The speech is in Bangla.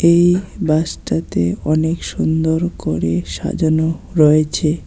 এই বাসটাতে অনেক সুন্দর করে সাজানো রয়েছে।